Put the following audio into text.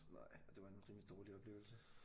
Nej og det var en rimelig dårlig oplevelse